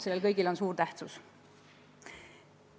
Sellel kõigel on suur tähtsus.